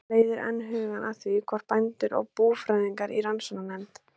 Þetta leiðir enn hugann að því, hvort bændur og búfræðingar í rannsóknarnefnd